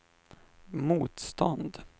motstånd